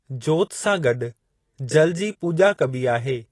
जोति सां गॾु जल जी पूॼा कबी आहे।